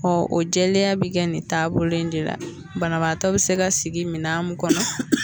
Ɔ o jɛlenya bɛ kɛ nin taabolo in de la, banabaatɔ bɛ se ka sigi minɛn kɔnɔ.